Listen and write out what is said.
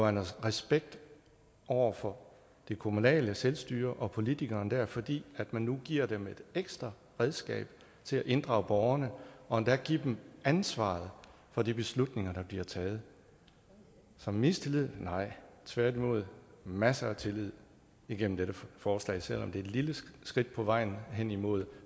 en respekt over for det kommunale selvstyre og politikerne der fordi man nu giver dem et ekstra redskab til at inddrage borgerne og endda giver dem ansvaret for de beslutninger der bliver taget så mistillid nej tværtimod masser af tillid igennem dette forslag selv om det er et lille skridt på vejen hen imod